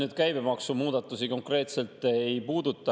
See käibemaksumuudatusi konkreetselt ei puuduta.